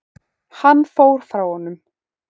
Hann fór frá honum.